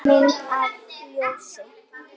Mynd að ljósi?